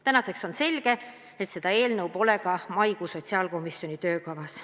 Tänaseks on selge, et seda eelnõu pole ka sotsiaalkomisjoni maikuu töökavas.